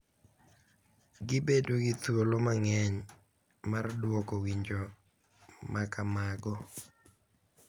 Gibedo gi thuolo mang’eny mar dwoko winjo ma kamago,